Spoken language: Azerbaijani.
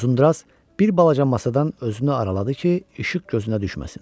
Uzunduraz bir balaca masadan özünü araladı ki, işıq gözünə düşməsin.